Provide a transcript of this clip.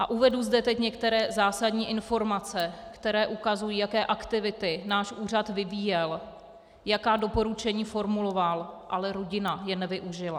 A uvedu zde teď některé zásadní informace, které ukazují, jaké aktivity náš úřad vyvíjel, jaká doporučení formuloval, ale rodina je nevyužila.